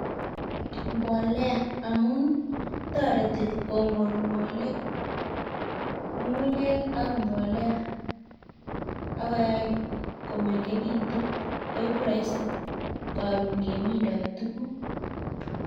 Mbolea amun toreti kongonngole ngungunyek AK mbolea akoyai komengekitun koiku raisi koron kemindo tukuk